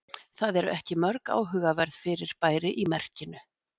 Það eru ekki mörg áhugaverð fyrirbæri í merkinu.